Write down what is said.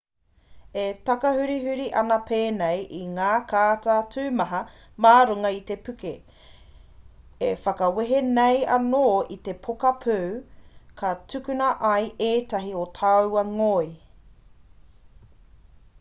e takahurihuri ana pēnei i ngā kāta tumaha mā runga i te puke e whakawehe nei anō i te poka pū ka tukuna ai ētahi o taua ngoi